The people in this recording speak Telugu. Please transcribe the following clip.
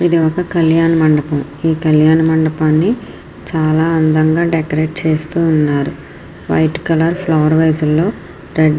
ఇది ఒక కళ్యాణ మండపం ఈ కళ్యాణ మండపాన్ని చాలా అందంగా డెకరేట్ చేస్తూ ఉన్నారు వైట్ కలర్ ఫ్లవర్ వాస్ లో రెడ్ .